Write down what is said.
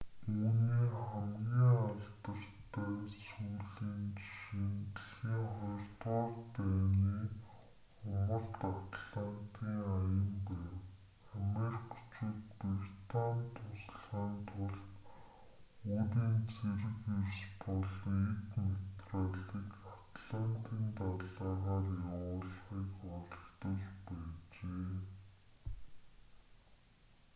үүний хамгийн алдартай сүүлийн жишээ нь дэлхийн ii дайны умард атлантын аян байв америкчууд британид туслахын тулд өөрийн цэрэг эрс болон эд материалыг атлантын далайгаар явуулахыг оролдож байжээ